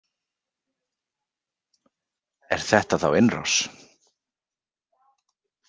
Er þetta þá innrás?